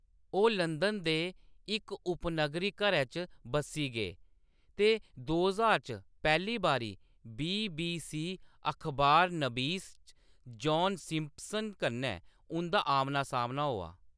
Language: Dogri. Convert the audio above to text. ओह्‌‌ लंदन दे इक उपनगरी घरै च बस्सी गे ते दे ज्हार च पैह्‌ली बारी बी.बी.सी. अखबारनबीस जान सिम्पसन कन्नै उंʼदा आमना-सामना होआ।